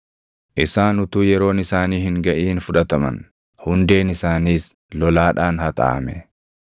Isaan utuu yeroon isaanii hin gaʼin fudhataman; hundeen isaanis lolaadhaan haxaaʼame.